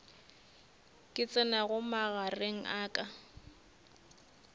ka tsenago magareng a ka